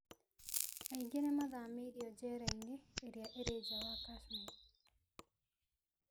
Aingĩ nĩ mathamĩririo njera-inĩ iria irĩ nja ya Kashmir.